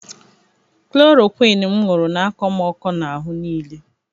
Klorokwịn m ṅụrụ na-akọ m ọkọ n'ahụ niile.